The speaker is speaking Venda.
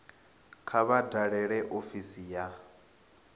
kha vha dalele ofisi ya